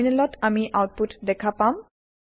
টাৰমিনেলত আমি আওতপুত দেখা পাম